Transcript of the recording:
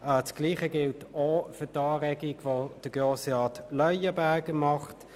Das Gleiche gilt auch für die Anregung von Grossrat Leuenberger.